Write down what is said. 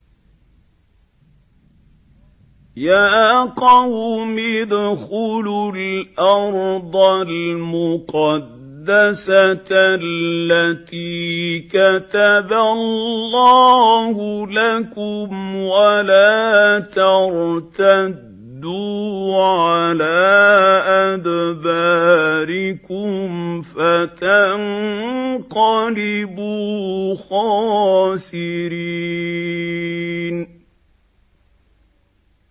يَا قَوْمِ ادْخُلُوا الْأَرْضَ الْمُقَدَّسَةَ الَّتِي كَتَبَ اللَّهُ لَكُمْ وَلَا تَرْتَدُّوا عَلَىٰ أَدْبَارِكُمْ فَتَنقَلِبُوا خَاسِرِينَ